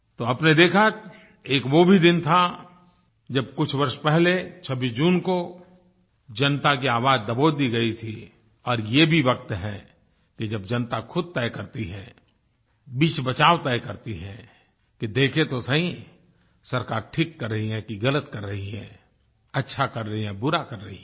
तो आपने देखा एक वो भी दिन था जब कुछ वर्ष पहले 26 जून को जनता की आवाज दबोच दी गई थी और ये भी वक्त है कि जब जनता खुद तय करती है बीचबचाव तय करती है कि देखें तो सही सरकार ठीक कर रही है कि गलत कर रही है अच्छा कर रही है बुरा कर रही है